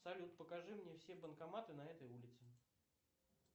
салют покажи мне все банкоматы на этой улице